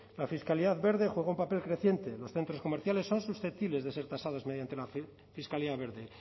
la fiscalidad verde juega un papel creciente los centros comerciales son susceptibles de ser tasados mediante una fiscalidad verde